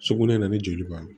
Sugunɛ na ni joli b'a la